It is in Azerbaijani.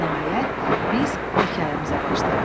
Nəhayət, biz hekayəmizə başlayaq.